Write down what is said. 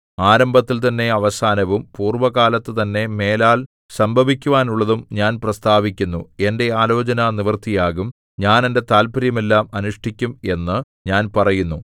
ആരംഭത്തിൽതന്നെ അവസാനവും പൂർവ്വകാലത്തുതന്നെ മേലാൽ സംഭവിക്കുവാനുള്ളതും ഞാൻ പ്രസ്താവിക്കുന്നു എന്റെ ആലോചന നിവൃത്തിയാകും ഞാൻ എന്റെ താത്പര്യമെല്ലാം അനുഷ്ഠിക്കും എന്നു ഞാൻ പറയുന്നു